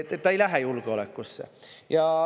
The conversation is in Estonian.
Ta ei lähe julgeolekusse.